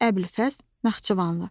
Əbülfəz Naxçıvanlı.